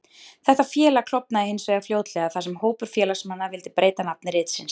Þetta félag klofnaði hins vegar fljótlega, þar sem hópur félagsmanna vildi breyta nafni ritsins.